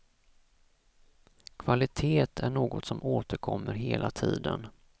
Kvalitet är något som återkommer hela tiden.